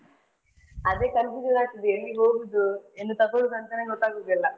ಅದೇ confusion ಆಗ್ತದೆ ಎಲ್ಲಿಗೆ ಹೋಗುದು ಏನು ತಕೊಲುದು ಅಂತನೇ ಗೊತ್ತಾಗುದಿಲ್ಲಾ.